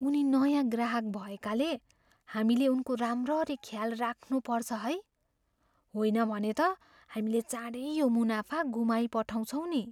उनी नयाँ ग्राहक भएकाले हामीले उनको राम्ररी ख्याल राख्नुपर्छ है। होइन भने त हामीले चाँडै यो मुनाफा गुमाइपठाउँछौँ नि।